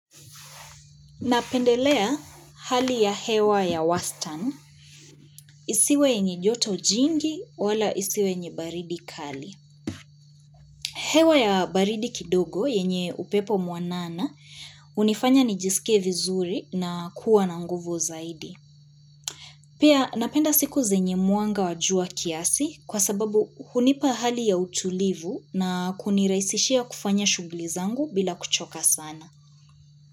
Napendelea hali ya hewa ya wastani isiwe yenye joto jingi wala isiwe yenye baridi kali. Hewa ya baridi kidogo yenye upepo mwanana, hunifanya nijisike vizuri na kuwa na nguvu zaidi. Pia napenda siku zenye mwanga wa jua kiasi kwa sababu hunipa hali ya utulivu na kunirahisishia kufanya shughuli zangu bila kuchoka sana.